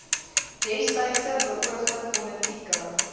destydse beoogde politieke